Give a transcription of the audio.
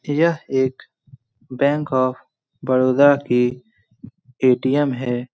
यह एक bank of Baroda की ए.टी.एम. है।